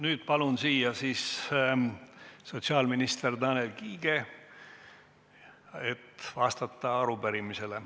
Nüüd palun siia sotsiaalminister Tanel Kiige vastama arupärimisele.